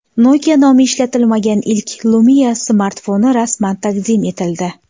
Nokia nomi ishlatilmagan ilk Lumia smartfoni rasman taqdim etildi.